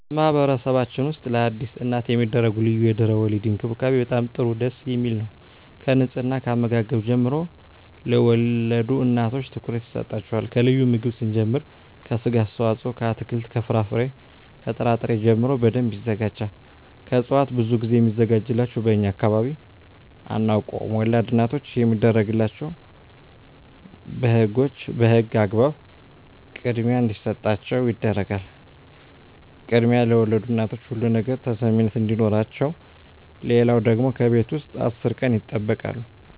በማህበረሰብችን ውስጥ ለአዲስ እናት የሚደረጉ ልዩ የድህረ _ወሊድ እንክብካቤ በጣም ጥሩ ደስ የሚል ነው ከንጽሕና ከአመጋገብ ጀምሮ ለወልድ እናቶች ትኩረት ይሰጣቸዋል ከልዩ ምግብ ስንጀምር ከስጋ አስተዋጽኦ ከአትክልት ከፍራፍሬ ከጥራ ጥሪ ጀምሮ በደንብ ይዘጋጃል ከእጽዋት ብዙ ግዜ ሚዘጋጅላቸው በእኛ አካባቢ አናውቀውም ወላድ እናቶች የሚደረግላቸው በህጎች በህግ አግባብ ክድሚያ እንዲሰጣቸው ይደረጋል ክድሚያ ለወልድ እናቶች ሁሉ ነገር ተሰሚነት አዲኖረቸው ሌለው ደግሞ ከቤት ውስጥ አስር ቀን ይጠበቃሉ